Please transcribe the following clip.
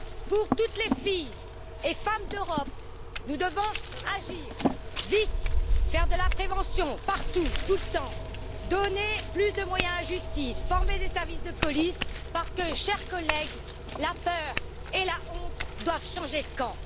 Pour toutes les filles et femmes d'Europe, nous devons agir vite, faire de la prévention partout et tout le temps, donner plus de moyens à la justice et former les services de police, parce que, chers collègues, la peur et la honte doivent changer de camp.